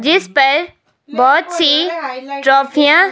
जिस पर बहोत सी ट्राफियां --